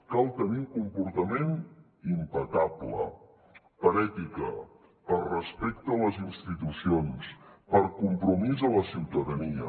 cal tenir un comportament impecable per ètica per respecte a les institucions per compromís amb la ciutadania